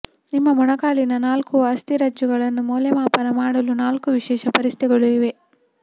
ನಿಮ್ಮ ಮೊಣಕಾಲಿನ ನಾಲ್ಕು ಅಸ್ಥಿರಜ್ಜುಗಳನ್ನು ಮೌಲ್ಯಮಾಪನ ಮಾಡಲು ನಾಲ್ಕು ವಿಶೇಷ ಪರೀಕ್ಷೆಗಳು ಇವೆ